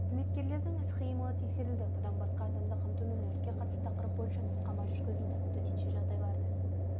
қызметкерлердің іс-қимылы тексерілді бұдан басқа адамды қамтумен өртке қарсы тақырып бойынша нұсқама жүргізілді төтенше жағдайларды